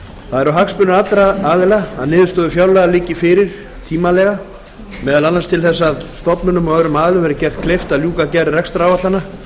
eru hagsmunir allra aðila að niðurstöður fjárlaga liggi fyrir tímanlega meðal annars til þess að stofnunum og öðrum aðilum verði gert kleift að ljúka gerð rekstraráætlana